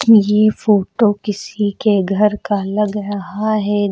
ये फोटो किसी के घर का लग रहा है।